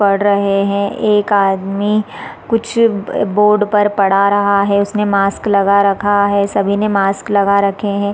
पढ़ रहे है एक आदमी कुछ बोर्ड पर पढ़ा रहा है उसने मास्क लगा रखा है सभी ने मास्क लगा रखे हैं ।